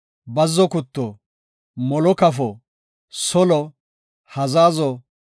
bazzo gutto, molo kafo, solee, hazazo,